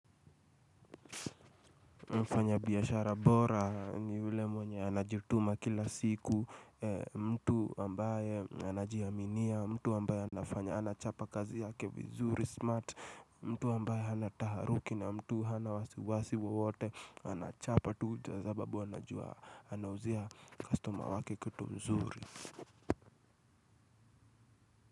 Mfanyabiashara bora ni ule mwenye anajituma kila siku. Mtu ambaye anajiaminia, mtu ambaye anafanya, anachapa kazi yake vizuri, smart. Mtu ambaye hana taharuki na mtu, hana wasiwasi wawote, anachapa tu sababu anajua, anauzia kastoma wake kitu mzuri.